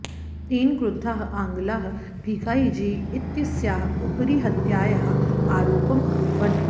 तेन क्रुद्धाः आङ्ग्लाः भीखायीजी इत्यस्याः उपरि हत्यायाः आरोपम् अकुर्वन्